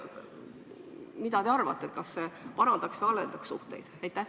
Mida te arvate, kas see parandaks või halvendaks suhteid?